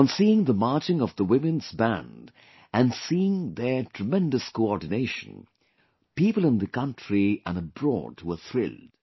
On Seeing the Marching of the women's band and seeing their tremendous coordination, people in the country and abroad were thrilled